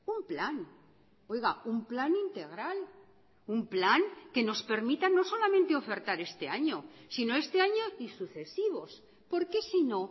un plan oiga un plan integral un plan que nos permita no solamente ofertar este año sino este año y sucesivos porque sino